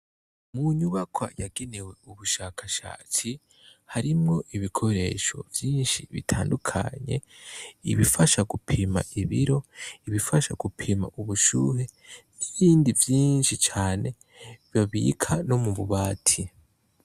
Munyubakwa yagenewe ubushakashatsi harimwo ibikoresho vyinshi bitandukanye ibifasha gupima ibiro ibifasha gupima ubushuhe n' ibindi vyinshi cane babika no mu bubati.